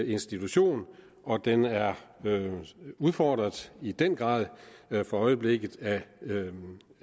institution og den er udfordret i den grad for øjeblikket af